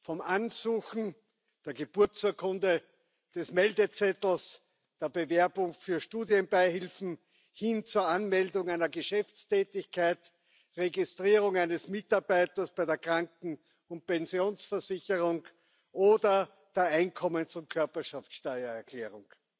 Vom Ansuchen der Geburtsurkunde, des Meldezettels, der Bewerbung für Studienbeihilfen hin zur Anmeldung einer Geschäftstätigkeit, Registrierung eines Mitarbeiters bei der Kranken und Pensionsversicherung oder bei der Einkommens und Körperschaftssteuererklärung